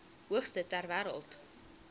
hoogste ter wêreld